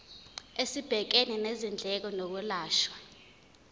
esibhekene nezindleko zokwelashwa